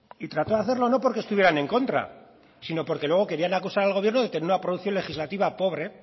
y trató de hacerlo no porque estuvieran en contra sino porque luego querían acusar al gobierno de tener una producción legislativa pobre